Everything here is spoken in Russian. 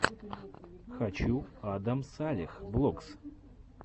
хочу адам салех влогс